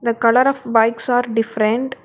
The colour of bikes are different.